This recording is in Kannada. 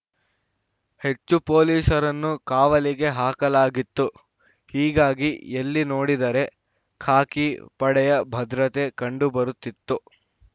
ಹೆಚ್ಚು ಪೊಲೀಸರನ್ನು ಕಾವಲಿಗೆ ಹಾಕಲಾಗಿತ್ತು ಹೀಗಾಗಿ ಎಲ್ಲಿ ನೋಡಿದರೆ ಖಾಕಿ ಪಡೆಯ ಭದ್ರತೆ ಕಂಡುಬರುತ್ತಿತ್ತು